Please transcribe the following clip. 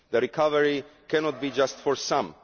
The recovery cannot be just for some.